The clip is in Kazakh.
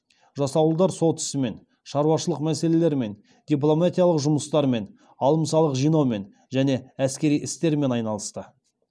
жасауылдар сот ісімен шаруашылық мәселелерімен дипломатиялық жұмыстармен алым салық жинаумен және әскери істермен айналысты